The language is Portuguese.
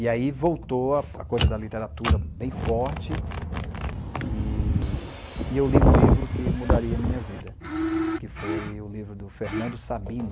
E aí voltou a a coisa da literatura bem forte, e e eu li um livro que mudaria a minha vida, que foi o livro do Fernando Sabino,